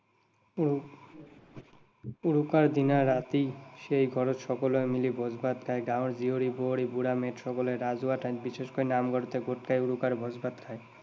উৰু উৰুকাৰ দিনা ৰাতি সেই ঘৰত সকলোৱে মিলি ভোজ ভাত খায়। গাঁৱৰ জীয়ৰী বোৱাৰী, বুঢ়া মেথা সকলে ৰাজহুৱা ঠাই, বিশেষকৈ নামঘৰতে গোট খাই উৰুকাৰ ভোজ ভাত খায়।